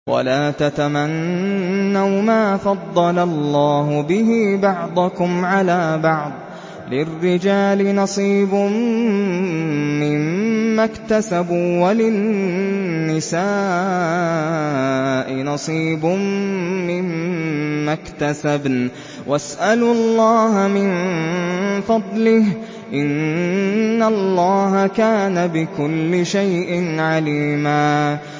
وَلَا تَتَمَنَّوْا مَا فَضَّلَ اللَّهُ بِهِ بَعْضَكُمْ عَلَىٰ بَعْضٍ ۚ لِّلرِّجَالِ نَصِيبٌ مِّمَّا اكْتَسَبُوا ۖ وَلِلنِّسَاءِ نَصِيبٌ مِّمَّا اكْتَسَبْنَ ۚ وَاسْأَلُوا اللَّهَ مِن فَضْلِهِ ۗ إِنَّ اللَّهَ كَانَ بِكُلِّ شَيْءٍ عَلِيمًا